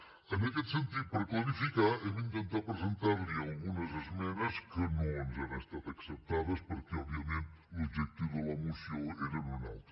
en aquest sentit per clarificar hem intentat presentar li algunes esmenes que no ens han estat acceptades perquè òbviament l’objectiu de la moció era un altre